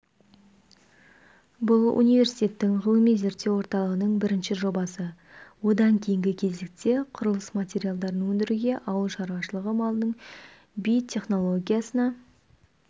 бұл университеттің ғылыми-зерттеу орталығының бірінші жобасы одан кейінгі кезекте құрылыс материалдарын өндіруге ауыл шаруашылығы малының битехнологиясына